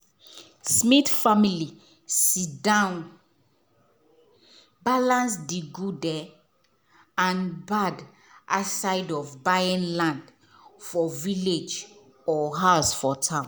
smith family sit down balance the good um and bad a side of buying land for village or house for town.